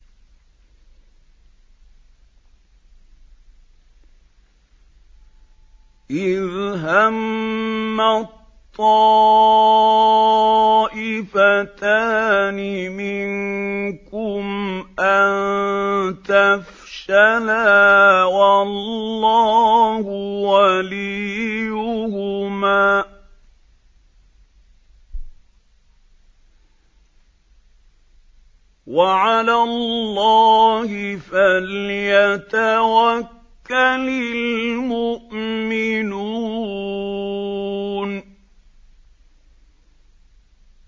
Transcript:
إِذْ هَمَّت طَّائِفَتَانِ مِنكُمْ أَن تَفْشَلَا وَاللَّهُ وَلِيُّهُمَا ۗ وَعَلَى اللَّهِ فَلْيَتَوَكَّلِ الْمُؤْمِنُونَ